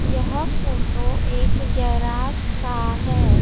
यह फोटो एक गैराज का है।